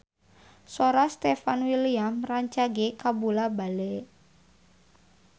Sora Stefan William rancage kabula-bale